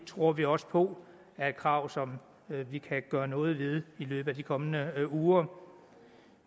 tror vi også på er et krav som vi kan gøre noget ved i løbet af de kommende uger